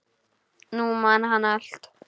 Nú man hann allt.